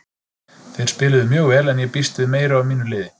Þeir spiluðu mjög vel en ég býst við meiru af mínu liði.